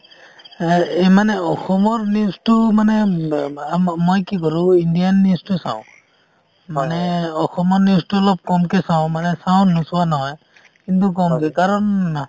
আ এ মানে অসমৰ news টো মানে ম ম ম মই কি কৰো indian news টো চাও, মানে অসমৰ news টো অলপ কমকে চাও মানে চাও নোচোৱা নহয় কিন্তু কম , কাৰণ